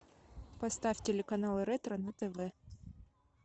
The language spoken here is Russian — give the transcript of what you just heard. поставь телеканал ретро на тв